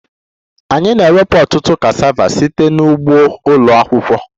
Anyị na-ewepụta ọtụtụ cassava site na ugbo ụlọ akwụkwọ